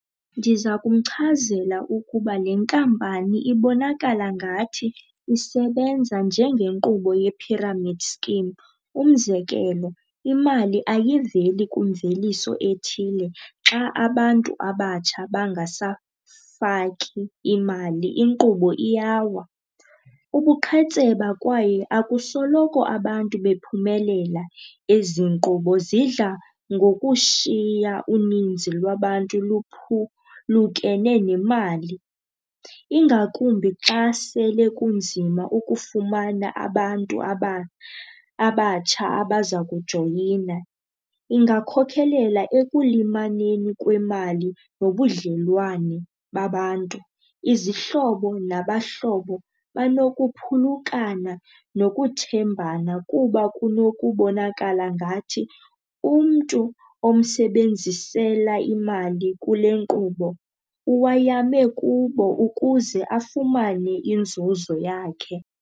Ndiza kumchazela ukuba le nkampani ibonakala ngathi isebenza njengenkqubo ye-pyramid scheme. Umzekelo, imali ayiveli kwimveliso ethile, xa abantu abatsha bangasafaki imali inkqubo iyawa. Ubuqhetseba kwaye akusoloko abantu bephumelela, ezi nkqubo zidla ngokushiya uninzi lwabantu luphulukene nemali ingakumbi xa sele kunzima ukufumana abantu abatsha abaza kujoyina. Ingakhokhelela ekulimaleni kwemali nobudlelwane babantu. Izihlobo nabahlobo banokuphulukana nokuthembana kuba kunokubonakala ngathi umntu omsebenzisela imali kule nkqubo uwayame kubo ukuze afumane inzuzo yakhe.